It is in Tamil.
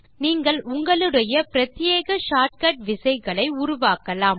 நீங்கள் உங்களுடைய பிரத்யேக ஷார்ட் கட் விசைகள் உருவாக்கலாம்